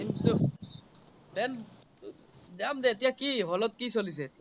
plan যাম দে এতিয়া কি hall ত কি চলিছে